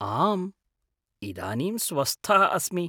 आम्, इदानीं स्वस्थः अस्मि।